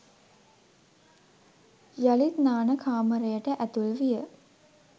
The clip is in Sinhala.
යළිත් නාන කාමරයට ඇතුල් විය.